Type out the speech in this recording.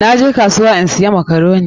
Na je kasuwa in siya makaroni.